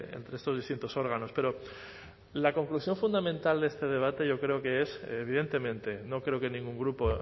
entre estos distintos órganos pero la conclusión fundamental de este debate yo creo que es evidentemente no creo que ningún grupo